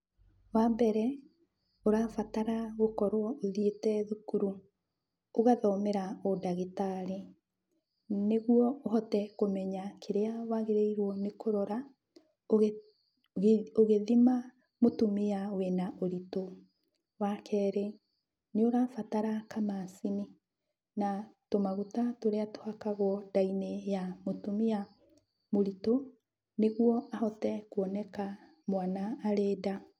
Wambere ũrabatara gũkorwo ũthiĩte thukuru, ũgathomera ũndagĩtarĩ, nĩguo ũhote kũmenya kĩrĩa wagĩrĩirwo nĩ kũrora, ũgĩthima mũtumia wĩna ũritũ. Wakerĩ, nĩũrabatara kamacini na tũmaguta tũrĩ tũhakagwo nda-inĩ ya mũtumia mũritũ nĩguo ahote kuoneka mwana arĩ nda.